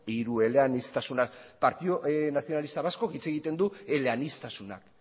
hirueleaniztasuna partidu nacionalista vasco hitz egiten du eleaniztasunak